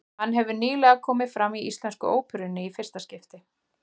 Hann hefur nýlega komið fram í Íslensku óperunni í fyrsta skipti.